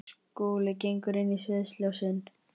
Skúli gengur inn í sviðsljósin.